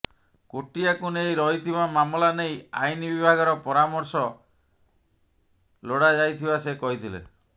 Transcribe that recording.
କୋଟିଆକୁ ନେଇ ରହିଥିବା ମାମଲା ନେଇ ଆଇନ ବିଭାଗର ପରାମର୍ଶ ଲୋଡ଼ାଯାଇଥିବା ସେ କହିଥିଲେ